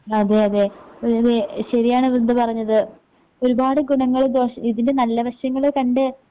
അതെയതെ വി വി ശരിയാണ് വൃന്ദ പറഞ്ഞത്. ഒരുപാട് ഗുണങ്ങളും ദോഷ് ഇതിൻ്റെ നല്ല വശങ്ങള് കണ്ട്